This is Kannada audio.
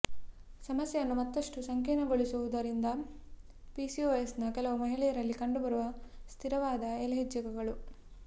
ಸಮಸ್ಯೆಯನ್ನು ಮತ್ತಷ್ಟು ಸಂಕೀರ್ಣಗೊಳಿಸುವುದರಿಂದ ಪಿಸಿಓಎಸ್ನ ಕೆಲವು ಮಹಿಳೆಯರಲ್ಲಿ ಕಂಡುಬರುವ ಸ್ಥಿರವಾದ ಎಲ್ಹೆಚ್ಹೆಚ್ಗಳು